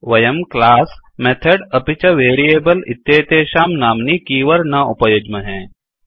वयं class method अपि च वेरियेबल इत्येतेषां नाम्नि कीवर्ड न उपयुज्महे